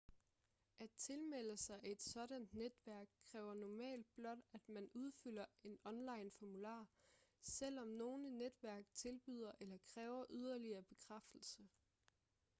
at tilmelde sig et sådant netværk kræver normalt blot at man udfylder en onlineformular selvom nogle netværk tilbyder eller kræver yderligere bekræftelse